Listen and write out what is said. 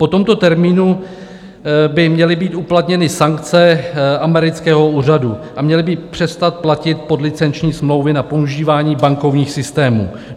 Po tomto termínu by měly být uplatněny sankce amerického úřadu a měly by přestat platit podlicenční smlouvy na používání bankovních systémů.